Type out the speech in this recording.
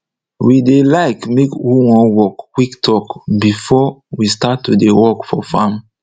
we dey like make who wan work quick talk before we start to dey work for farm